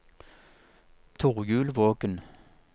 Torjulvågen